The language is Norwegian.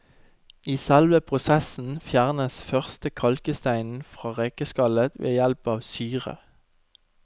I selve prosessen fjernes først kalksteinen fra rekeskallet ved hjelp av syre.